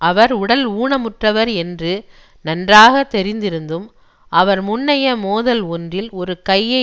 அவர் உடல் ஊனமுற்றவர் என்று நன்றாக தெரிந்திருந்தும் அவர் முன்னைய மோதல் ஒன்றில் ஒரு கையை